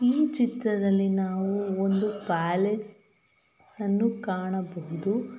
ಈ ಚಿತ್ರದಲ್ಲಿ ನಾವು ಒಂದು ಪ್ಯಾಲೇಸ್ ಅನ್ನು ಕಾಣಬಹುದು.